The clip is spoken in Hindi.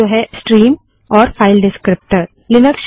जो है स्ट्रीम और फाइल डिस्क्रीप्टर विवरणक